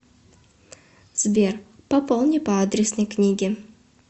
сбер пополни по адресной книге